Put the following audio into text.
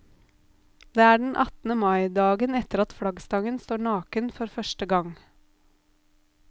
Det er den attende mai, dagen etter at flaggstangen står naken for første gang.